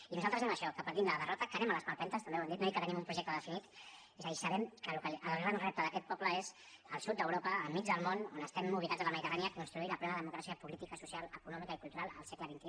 i nosaltres anem a això que partim de la derrota que anem a les palpentes també ho hem dit no i que tenim un projecte definit és a dir sabem que el gran repte d’aquest poble és al sud d’europa enmig del món on estem ubicats a la mediterrània construir la plena democràcia política social econòmica i cultural al segle xxi